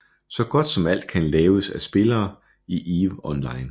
Så godt som alt kan laves af spillere i eve online